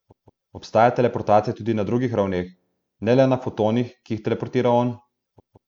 Obstaja teleportacija tudi na drugih ravneh, ne le na fotonih, ki jih teleportira on?